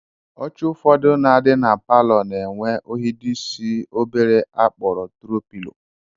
Oche ụfọdụ na-adị na palọ na-enwe ohidoisi obere a kpọrọ tro pilo